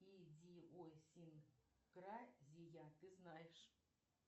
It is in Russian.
идиосинкразия ты знаешь